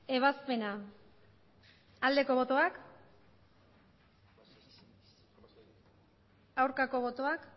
ebazpena aldeko botoak aurkako botoak